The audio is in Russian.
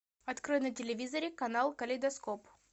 открой на телевизоре канал калейдоскоп